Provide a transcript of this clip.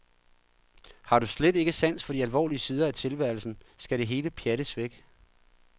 Har du slet ikke sans for de alvorlige side af tilværelsen, skal det hele pjattes væk?